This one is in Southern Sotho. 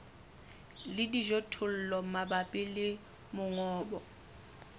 le dijothollo mabapi le mongobo